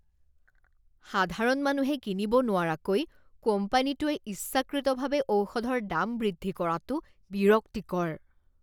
সাধাৰণ মানুহে কিনিব নোৱৰাকৈ কোম্পানীটোৱে ইচ্ছাকৃতভাৱে ঔষধৰ দাম বৃদ্ধি কৰাটো বিৰক্তিকৰ।